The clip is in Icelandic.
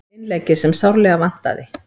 Innleggið sem sárlega vantaði